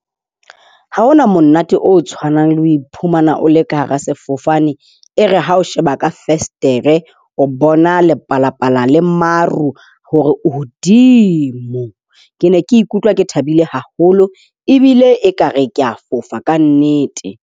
Ha hona monate o tshwanang le ho iphumana o le ka hara sefofane. E re ha o sheba ka fensetere o bona lepalapala le maru hodimo. Ke ne ke ikutlwa ke thabile haholo ebile ekare ke a fofa ka nnete.